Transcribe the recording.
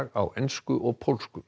á ensku og pólsku